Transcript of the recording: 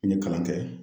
N ye kalan kɛ